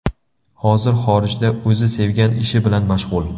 Hozir xorijda o‘zi sevgan ishi bilan mashg‘ul.